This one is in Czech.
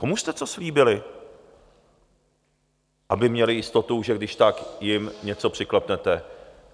Komu jste to slíbili, aby měli jistotu, že když tak jim něco přiklepnete?